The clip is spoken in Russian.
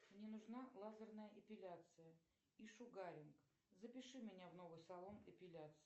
мне нужна лазерная эпиляция и шугаринг запиши меня в новый салон эпиляции